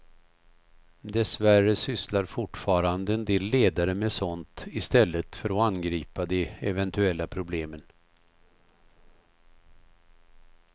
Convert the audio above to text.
Dessvärre sysslar fortfarande en del ledare med sådant istället för att angripa de eventuella problemen.